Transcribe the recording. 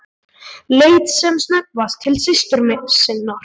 Leit sem snöggvast til systur sinnar.